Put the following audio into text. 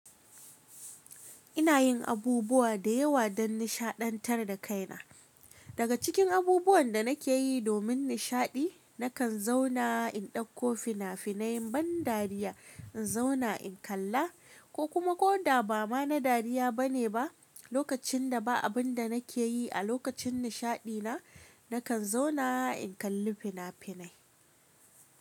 Ina yin abubuwa da yawa don nishaɗantar da kaina. Daga cikin abubuwan da nake yi domin nishaɗi, nakan zauna in ɗauko fina-finai ban dariya, in zauna in kalla ko kuma ko da ba ma na dariya bane ba. Lokacin da ba abun da nake yi a lokacin nishaɗi na, nakan zauna in kalli fina-finai.